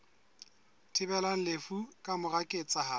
thibelang lefu ka mora ketsahalo